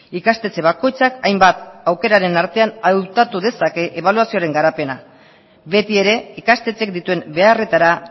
ikastetxe bakoitzak hainbat aukeraren artean hautatu dezake ebaluazioaren garapena betiere ikastetxek dituen beharretara